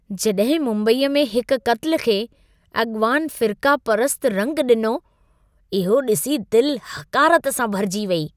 जॾहिं मुम्बईअ में हिक क़त्ल खे अॻवान फ़िर्क़ा परसतु रंगु ॾिनो, इहो ॾिसी दिलि हक़ारत सां भरिजी वेई।